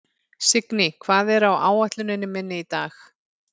Signý, hvað er á áætluninni minni í dag?